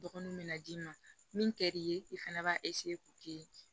Dɔgɔninw bɛ na d'i ma min ka di'i ye i fana b'a k'o kɛ